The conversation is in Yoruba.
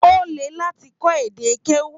O lè láti kọ èdè keu.